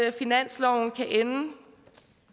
at finansloven kan ende